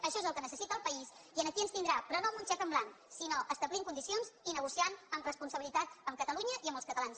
això és el que necessita el país i aquí ens tindrà però no amb un xec en blanc sinó establint condicions i negociant amb responsabilitat amb catalunya i amb els catalans